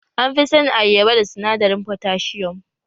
An fi sanin ayyaba da sinadarin fotasium